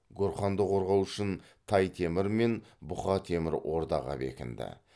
гурханды қорғау үшін тай темір мен бұқа темір ордаға бекінді